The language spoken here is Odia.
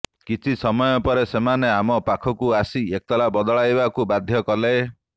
କିଛି ସମୟ ପରେ ସେମାନେ ଆମ ପାଖକୁ ଆସି ଏତାଲା ବଦଳାଇବାକୁ ବାଧ୍ୟ କଲେ